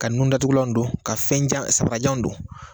Ka nundatugulan don ka fɛn jan sanbarajan don